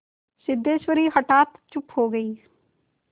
सिद्धेश्वरी हठात चुप हो गई